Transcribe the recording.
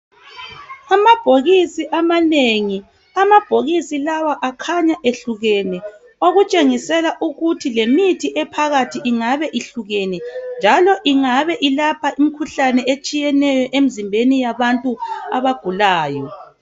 Amabhokisi amanengi. Amabhokisi lawa akhanya ehlukene okutshengisela ukuthi lemithi ephakathi ingabe ihlukene. Njalo ingabe ilapha imikhuhlane etshiyeneyo emzimbenu yabantu abagulayo